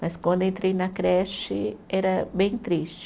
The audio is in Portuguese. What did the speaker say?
Mas quando entrei na creche era bem triste.